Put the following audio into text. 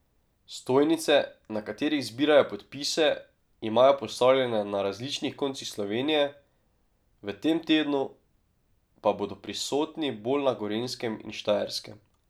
Stojnice, na katerih zbirajo podpise, imajo postavljene na različnih koncih Slovenije, v tem tednu pa bodo prisotni bolj na Gorenjskem in Štajerskem.